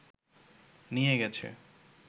নিয়ে গেছে